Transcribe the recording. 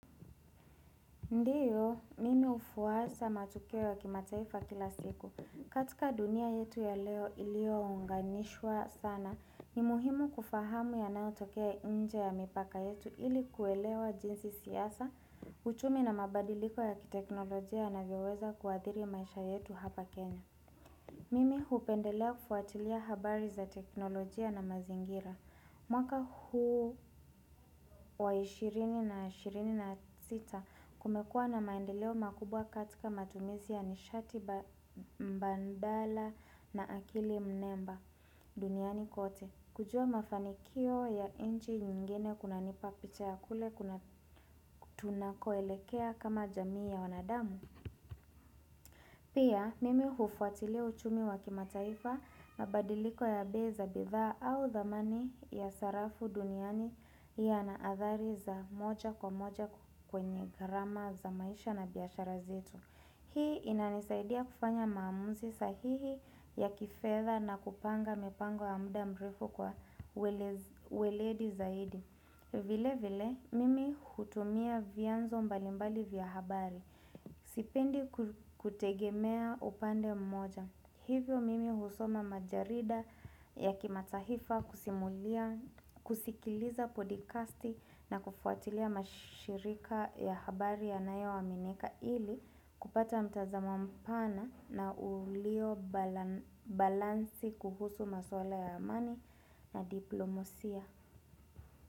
Ndiyo, mimi hufuwasa matokeo ya kimataifa kila siku. Katika dunia yetu ya leo iliyounganishwa sana, ni muhimu kufahamu yanayotokea nje ya mipaka yetu ili kuelewa jinsi siasa, uchumi na mabadiliko ya kiteknolojia yanavyoweza kuadhiri maisha yetu hapa Kenya. Mimi hupendelea kufuatilia habari za teknolojia na mazingira. Mwaka huu wa 20 na 20 na 6 kumekuwa na maendeleo makubwa katika matumizi ya nishati mbandala na akili mnemba duniani kote. Kujua mafanikio ya inchi nyingine kunanipa picha ya kule kuna tunakoelekea kama jamii ya wanadamu. Pia mimi hufuatilia uchumi wa kimataifa na badiliko ya bei za bidhaa au dhamani ya sarafu duniani yana athari za moja kwa moja kwenye gharama za maisha na biashara zetu. Hii inanisaidia kufanya maamuzi sahihi ya kifeza na kupanga mipango ya muda mrefu kwa weledi zaidi. Vile vile, mimi hutumia vianzo mbalimbali vya habari, sipendi kutegemea upande mmoja. Hivyo mimi husoma majarida ya kimatahifa kusikiliza podikasti na kufuatilia mashirika ya habari yanayoaminika ili kupata mtazamo mpana na ulio balansi kuhusu maswala ya amani na diplomosia.